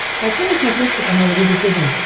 хочу на смотрешке канал рубль тв